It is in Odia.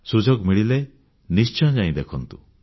ସୁଯୋଗ ମିଳିଲେ ନିଶ୍ଚୟ ଯାଇ ଦେଖନ୍ତୁ